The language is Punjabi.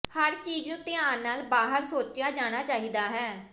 ਹਰ ਚੀਜ਼ ਨੂੰ ਧਿਆਨ ਨਾਲ ਬਾਹਰ ਸੋਚਿਆ ਜਾਣਾ ਚਾਹੀਦਾ ਹੈ